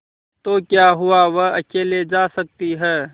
तो क्या हुआवह अकेले जा सकती है